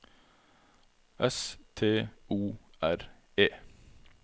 S T O R E